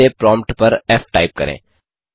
फिर से प्रॉम्प्ट पर फ़ टाइप करें